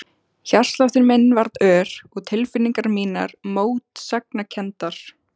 Hjartsláttur minn varð ör og tilfinningar mínar mótsagnakenndar.